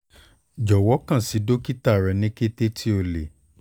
jọwọ kan si dokita rẹ ni kete ti o le